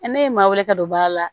ne ye ma weele ka don baara la